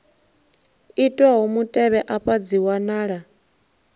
itwaho mutevhe afha dzi wanala